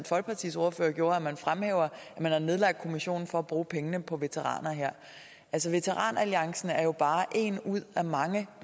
folkepartis ordfører gjorde at man har nedlagt kommissionen for at bruge pengene på veteraner altså veteran alliancen er jo bare én ud af mange